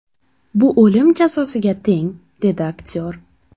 Bu o‘lim jazosiga teng”, − dedi aktyor.